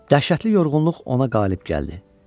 Dəhşətli yorğunluq ona qalib gəldi.